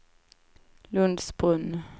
Lundsbrunn